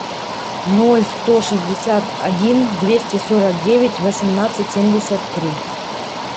ноль сто шестьдесят один двести сорок девять восемнадцать семьдесят три